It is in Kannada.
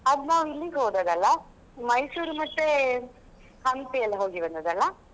ಅದು ನಾವು ಇಲ್ಲಿಗೆ ಹೋದದ್ದಲ್ಲಾ ಮೈಸೂರ್ ಮತ್ತೆ ಹಂಪಿ ಎಲ್ಲ ಹೋಗಿ ಬಂದದ್ದಲ್ಲ.